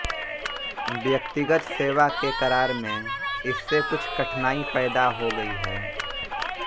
व्यक्तिगत सेवा के करार में इससे कुछ कठिनाई पैदा हो गई है